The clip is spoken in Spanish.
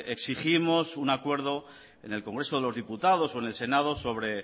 exigimos un acuerdo en el congreso de los diputados o en el senado sobre